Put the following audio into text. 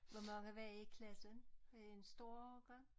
Hvor mange var i i klassen? Var det en stor årgang?